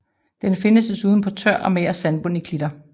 Den findes desuden på tør og mager sandbund i klitter